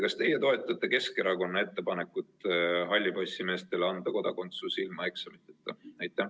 Kas teie toetate Keskerakonna ettepanekut anda hallipassimeestele kodakondsus ilma eksamiteta?